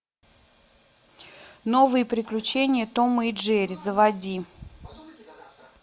новые приключения тома и джерри заводи